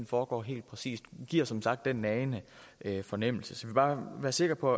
foregår helt præcist giver som sagt den nagende fornemmelse så bare være sikker på